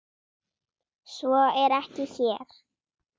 Svo er ekki hér.